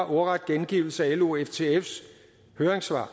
ordret gengivelse af lo og ftfs høringssvar